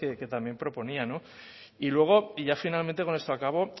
que también proponía no y luego y ya finalmente con esto acabo